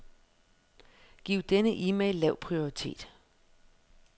Giv denne e-mail lav prioritet.